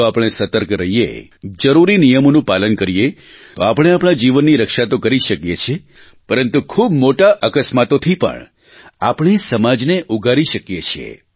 જો આપણે સતર્ક રહીએ જરૂરી નિયમોનું પાલન કરીએ તો આપણે આપણા જીવનની રક્ષા તો કરી જ શકીએ છીએ પરંતુ ખૂબ મોટા અકસ્માતોથી પણ આપણે સમાજને ઊગારી શકીએ છીએ